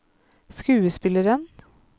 skuespilleren